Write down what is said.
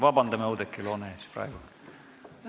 Vabandan Oudekki Loone ees praegu!